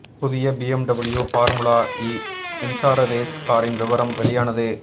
புதிய BMW formula E மின்சார ரேஸ் காரின் விபரம் வெளியானது